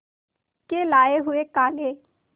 के लाए हुए काले